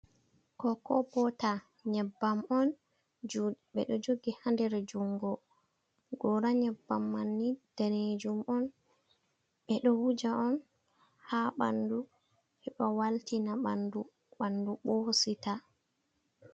Kokobota, nyebbam on, ɓe ɗo jogi ha nder jungo. Gora nyebbam manni daneejum on, ɓe ɗo wuja on ha ɓandu, heɓa waltina ɓandu, ɓandu ɓursita.